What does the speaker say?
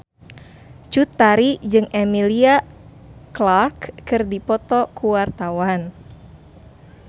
Cut Tari jeung Emilia Clarke keur dipoto ku wartawan